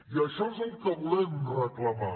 i això és el que volem reclamar